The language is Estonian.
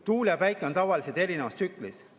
Tuul ja päike on tavaliselt erinevas tsüklis.